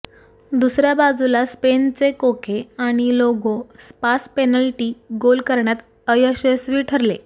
दुसऱ्या बाजूला स्पेनचे कोके आणि लागो स्पास पेनल्टी गोल करण्यात अयशस्वी ठरले